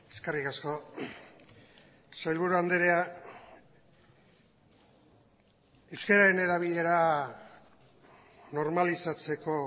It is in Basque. eskerrik asko sailburu andrea euskararen erabilera normalizatzeko